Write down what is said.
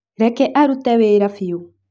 Reke arute wĩra biũ.